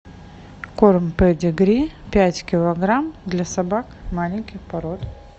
корм педигри пять килограмм для собак маленьких пород